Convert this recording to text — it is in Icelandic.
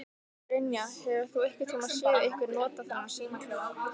Brynja: Hefur þú einhvern tíman séð einhver nota þennan símaklefa?